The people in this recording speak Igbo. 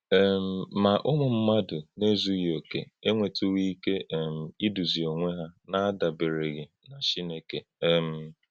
um Má, ǔmù̀ mmádụ̄ nā-èzùghị́ òkè̄ ènwètùghị̀ íké um ídùzì̄ onwē hà n’àdàbérè̄ghị̀ nà Chìnékè. um